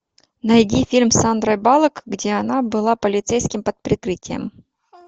найди фильм с сандрой баллок где она была полицейским под прикрытием